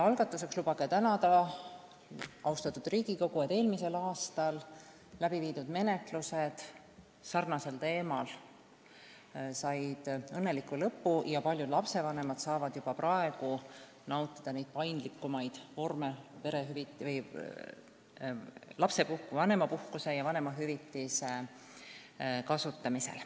Algatuseks lubage tänada, austatud Riigikogu, selle eest, et eelmisel aastal läbi viidud menetlused samasugusel teemal said õnneliku lõpu ja paljud lapsevanemad saavad juba praegu nautida paindlikumaid võimalusi vanemapuhkuse ja vanemahüvitise kasutamisel.